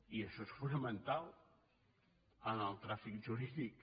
i això és fonamental en el tràfic jurídic